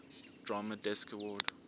drama desk award